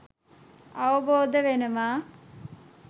අවබෝධ වෙනවා.